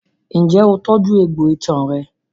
Ǹjẹ́ o tọ́jú egbò itan rẹ?